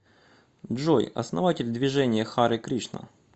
джой основатель движение харе кришна